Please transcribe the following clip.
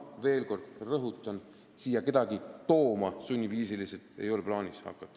Veel kord rõhutan, et kedagi siia sunniviisil tooma ei ole plaanis hakata.